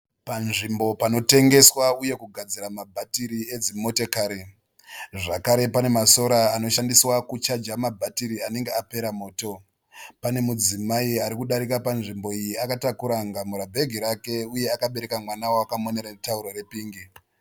Panzvimbo panotengeswa uye kugadzira mabhatiri edzimotokari zvakare pane maSolar anoshandiswa kuchaja mabhatiri anenge apera moto. Pane mudzimai ari kudarika panzvimbo iyi akatakura ngamura yebhegi rake uye akabereka mwana waakamonera netauro repingi.